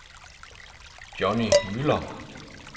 Johnny Müller